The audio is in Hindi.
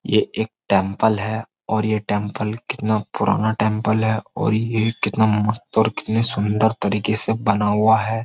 ये एक टैंपल है और ये टैंपल कितना पुराना टैंपल है और ये कितना मस्त और कितने सुंदर तरीके से बना हुआ है।